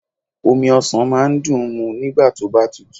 Omi ọsàn máa ń dùn ń mu nígbà tóbá tutù